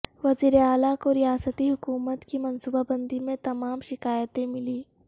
وزیر اعلی کو ریاستی حکومت کی منصوبہ بندی میں تمام شکایتیں ملیں